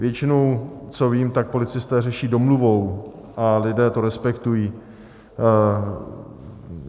Většinou, co vím, tak policisté řeší domluvou a lidé to respektují.